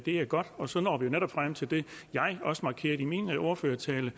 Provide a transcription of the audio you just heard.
er godt og så når vi netop frem til det jeg også markerede i min ordførertale